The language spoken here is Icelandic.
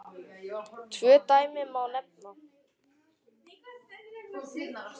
Tvö dæmi má nefna.